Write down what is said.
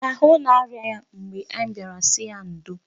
Ahụ na-arịa ya mgbe anyị bịara sị ya ndo.